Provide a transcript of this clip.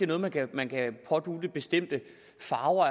noget man kan pådutte bestemte farver